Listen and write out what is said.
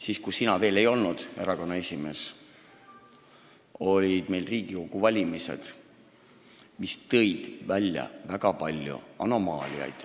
Siis, kui sina veel ei olnud erakonna esimees, olid Riigikogu valimised, mis tõid välja väga palju anomaaliaid.